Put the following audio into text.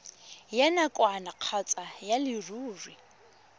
ya nakwana kgotsa ya leruri